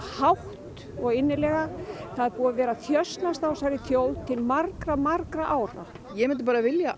hátt og innilega það er búið að þjösnast á þessari þjóð til margra margra ára ég myndi bara vilja